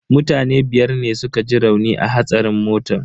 Mutane biyar ne suka ji rauni a hatsarin motan.